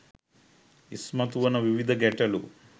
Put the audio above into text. ඉස්මතු වන විවිධ ගැටලු